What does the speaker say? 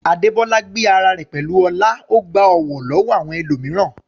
Adebola gbé ara rẹ̀ pẹ̀lú ọlá, ó gba ọ̀wọ̀ lọ́wọ́ àwọn ẹlòmíràn.